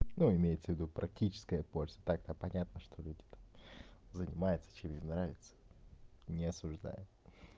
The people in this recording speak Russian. ну имеется ввиду практическая польза так-то понятно что люди там занимаются чем им нравится не осуждаю